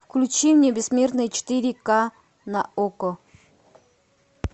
включи мне бессмертные четыре ка на окко